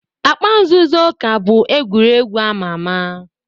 Akpa nzuzo ka bụ egwuregwu ama ama.